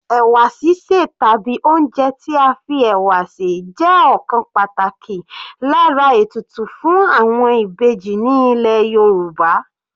Ẹ̀wà sísè tàbí oúnjẹ tí a fi ẹ̀wà sè jẹ́ ọ̀kan pàtàkì lára ètùtù fún àwọn Ìbejì ní ilẹ̀ Yorùbá.